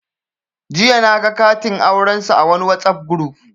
Jiya naga katin aurensu a wani Whatsapp guruf